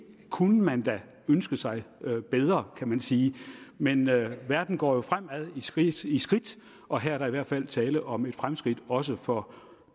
kunne man da ønske sig bedre kan man sige men verden går jo fremad i skridt i skridt og her er der i hvert fald tale om et fremskridt også for